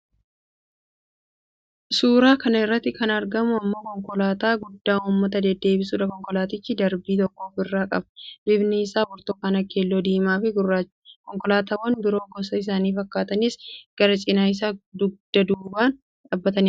Suuraa kana irratti kan argamu immoo konkolaataa guddaa uummata deddeebisuudha. Konkolaatichi darbii tokko ofirraa qaba. Bifni isaa burtukaana, keelloo, diimaafi gurraacha. Konkolaatawwan biroon gosa isaa fakkaatanis karaa cina isaa dugda duubaan dhaabbatanii argamu.